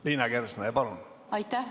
Liina Kersna, palun!